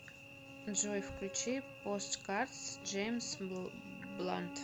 джой включи посткардс джеймс блант